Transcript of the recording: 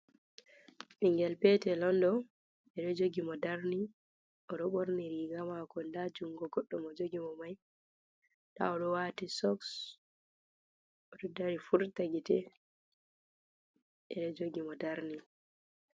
Ɓingel petel on ɗo, ɓeɗo jogi mo darni, oɗo ɓorni riga mako, nda jungo goɗɗo mo jogi mo mai, nda oɗo wati sok, oɗo dari furta gite, ɓeɗo jogi mo darni.